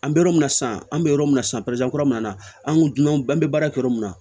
An bɛ yɔrɔ min na sisan an bɛ yɔrɔ min na sisan kura ninnu na an ko dunan an bɛ baara kɛ yɔrɔ min na